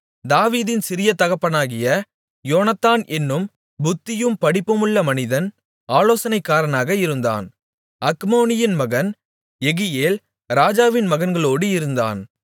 தாவீதின் சிறிய தகப்பனாகிய யோனத்தான் என்னும் புத்தியும் படிப்புமுள்ள மனிதன் ஆலோசனைக்காரனாக இருந்தான் அக்மோனியின் மகன் யெகியேல் ராஜாவின் மகன்களோடு இருந்தான்